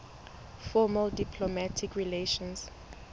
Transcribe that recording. formal diplomatic relations